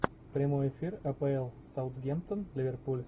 прямой эфир апл саутгемптон ливерпуль